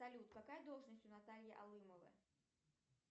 салют какая должность у натальи алымовой